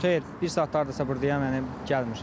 Xeyr, bir saat hardasa burdayam, yəni gəlmir.